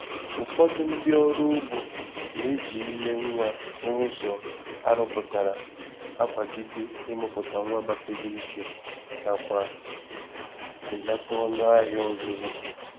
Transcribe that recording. Ụfọdụ ndị oro ugbo na-eji ime nwa n’ụzọ arụpụtara akwagide imụpụta nwa gbasiri ike nakwa belata ọnụ ahịa ọzụzụ.